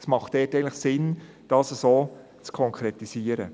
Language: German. Es ist sinnvoll, dies so zu konkretisieren.